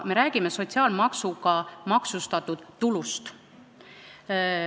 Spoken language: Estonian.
Me räägime sotsiaalmaksuga maksustatud tulust.